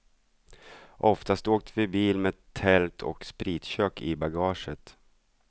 Oftast åkte vi bil med tält och spritkök i bagaget.